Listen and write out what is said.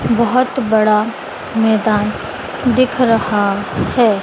बहोत बड़ा मैदान दिख रहा है।